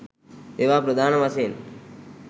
ඒවා ප්‍රධාන වශයෙන්